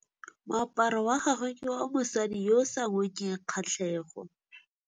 Moaparô wa gagwe ke wa mosadi yo o sa ngôkeng kgatlhegô.